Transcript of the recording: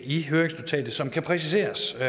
i høringsnotatet som kan præciseres og